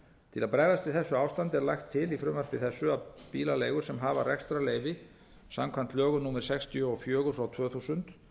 til að bregðast við þessu ástandi er lagt til í frumvarpi þessu að bílaleigur sem hafa rekstrarleyfi samkvæmt lögum númer sextíu og fjögur tvö þúsund